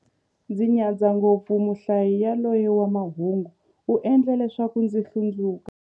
Ndzi nyadza ngopfu muhlayi yaloye wa mahungu, u endla leswaku ndzi hlundzuka.